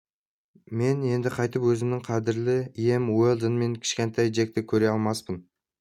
мен енді қайтып өзімнің қадірлі ием уэлдон мен кішкентай джекті көре алмаспын